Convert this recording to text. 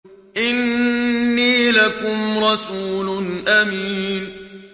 إِنِّي لَكُمْ رَسُولٌ أَمِينٌ